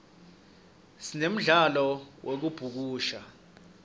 sinemdlalo yekubhukusha